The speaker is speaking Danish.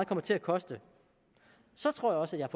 kommer til at koste så tror jeg også at jeg